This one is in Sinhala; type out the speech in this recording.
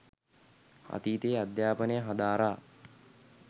අතීතයේ අධ්‍යාපනය හදාරා